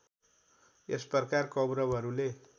यस प्रकार कौरवहरूले